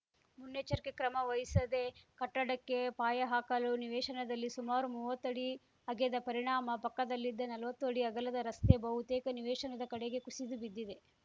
ಮುನ್ನೆಚ್ಚರಿಕೆ ಕ್ರಮ ವಹಿಸದೆ ಕಟ್ಟಡಕ್ಕೆ ಪಾಯ ಹಾಕಲು ನಿವೇಶನದಲ್ಲಿ ಸುಮಾರು ಮುವತ್ತು ಅಡಿ ಅಗೆದ ಪರಿಣಾಮ ಪಕ್ಕದಲ್ಲಿದ್ದ ನಲ್ವತ್ತು ಅಡಿ ಅಗಲದ ರಸ್ತೆ ಬಹುತೇಕ ನಿವೇಶನದ ಕಡೆಗೆ ಕುಸಿದು ಬಿದ್ದಿದೆ